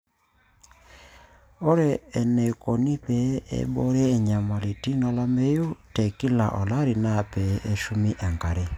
ore eneikoni pee eiboori enyamalitin olameyu te kila olari naa pee eshumi enkare